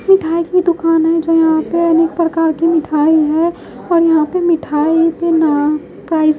मिठाई की दुकान है जो यहां पे अनेक प्रकार की मिठाई है और यहां पे ना प्राइस --